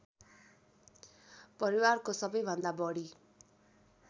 परिवारको सबैभन्दा बढी